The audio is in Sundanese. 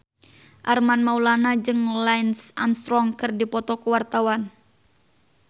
Armand Maulana jeung Lance Armstrong keur dipoto ku wartawan